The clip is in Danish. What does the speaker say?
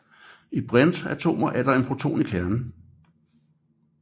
I brintatomer er der én proton i kernen